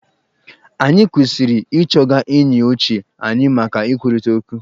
Anyị kwesiri ị chọga enyi ochie anyị maka ikwurịta ọkwu.